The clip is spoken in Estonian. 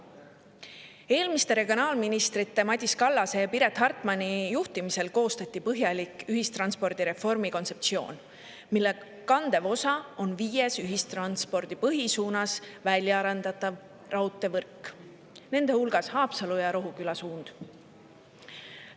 Eelmiste regionaalministrite Madis Kallase ja Piret Hartmani juhtimisel koostati põhjalik ühistranspordireformi kontseptsioon, mille kandev osa on ühistranspordi viies põhisuunas väljaarendatav raudteevõrk, nende hulgas Haapsalu ja Rohuküla suund.